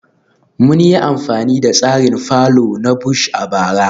Mun yi amfani da tsarin fallow na Bush a bara